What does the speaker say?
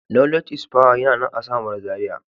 Knowledge is power yana nan a samaru zaria.